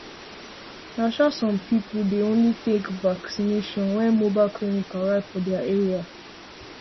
na um some people dem um only take vacination when mobile clinic arrive for their area